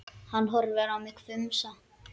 Hann horfði á mig hvumsa.